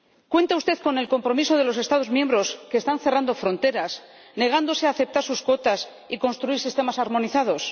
¿Cuenta usted con el compromiso de los Estados miembros, que están cerrando fronteras y negándose a aceptar sus cuotas y a construir sistemas armonizados?